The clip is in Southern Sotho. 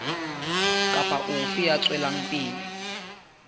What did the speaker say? kapa ofe ya tswelang pele